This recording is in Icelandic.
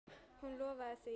Hún lofaði því.